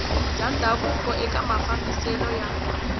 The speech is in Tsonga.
bya ndhavuko eka mafambiselo ya